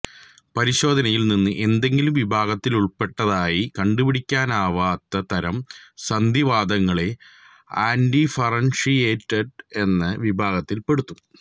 പരിശോധനയിൽ നിന്ന് ഏതെങ്കിലും വിഭാഗത്തിലുൾപ്പെടുന്നതായി കണ്ടുപിടിക്കാനാവാത്ത തരം സന്ധിവാതങ്ങളെ അൺഡിഫറൻഷിയേറ്റഡ് എന്ന വിഭാഗത്തിൽ പെടുത്തും